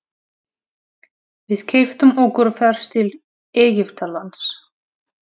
Við keyptum okkur ferð til Egyptalands.